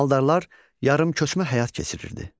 Maldarlar yarımköçmə həyat keçirirdi.